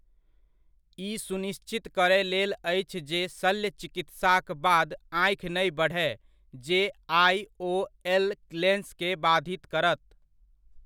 ई सुनिश्चित करय लेल अछि जे शल्य चिकित्साक बाद आँखि नहि बढ़य जे आईओएल लेन्स के बाधित करत।